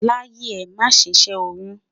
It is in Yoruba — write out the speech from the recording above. láyé è, má sé ṣé oyún